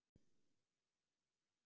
Bít í varirnar.